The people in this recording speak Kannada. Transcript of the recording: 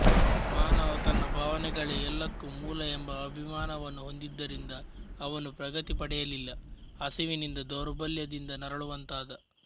ಮಾನವ ತನ್ನ ಭಾವನೆಗಳೇ ಎಲ್ಲಕ್ಕೂ ಮೂಲ ಎಂಬ ಅಭಿಮಾನವನ್ನು ಹೊಂದಿದ್ದರಿಂದ ಅವನು ಪ್ರಗತಿ ಪಡೆಯಲಿಲ್ಲ ಹಸಿವಿನಿಂದ ದೌರ್ಬಲ್ಯದಿಂದ ನರಳುವಂತಾದ